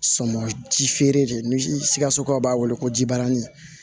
Sɔnma ji feere de ni sikasokaw b'a wele ko jibarani